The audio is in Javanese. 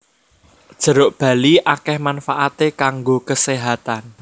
Jeruk bali akèh manfaaté kanggo keséhatan